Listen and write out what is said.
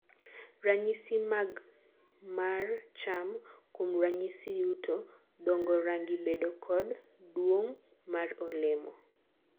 ranyisi mag mar cham (kuom ranyisi yuto, dongo, rangi, bedo kod duomg mar olemo)